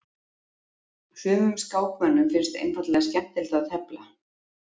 Sumum skákmönnum finnst einfaldlega skemmtilegt að tefla.